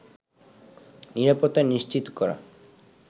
নিরাপত্তা নিশ্চিত করা